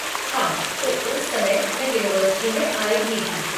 हाँ, तो उस समय मैं यूनिवर्सिटि में आई ही थी।